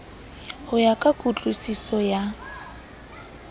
ho ya ka kutlwusiso ya